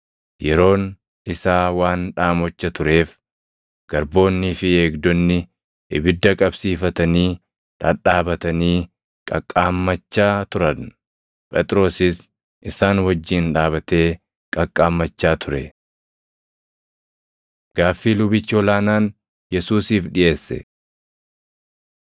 Yeroon isaa waan dhaamocha tureef garboonnii fi eegdonni ibidda qabsiifatanii dhadhaabatanii qaqqaammachaa turan. Phexrosis isaan wajjin dhaabatee qaqqaammachaa ture. Gaaffii Lubichi Ol aanaan Yesuusiif Dhiʼeesse 18:19‑24 kwf – Mat 26:59‑68; Mar 14:55‑65; Luq 22:63‑71